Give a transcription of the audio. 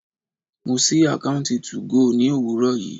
Mo sí àkọ́ùntì 2go ní òwúrọ̀ yìí.